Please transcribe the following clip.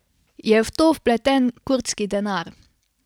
Je v to vpleten kurdski denar?